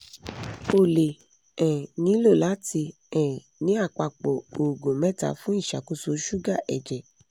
o le um nilo lati um ni apapọ̀ oògùn mẹta fun iṣakoso suga ẹjẹ